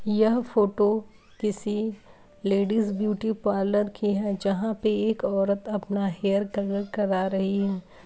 यह फोटो किसी ladies beauty parlour की है जहाँ पे एक औरत अपना हेयर कलर करा रही है।